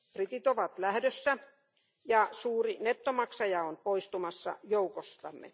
Britit ovat lähdössä, ja suuri nettomaksaja on poistumassa joukostamme.